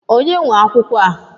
Ònye nwe akwụkwọ a?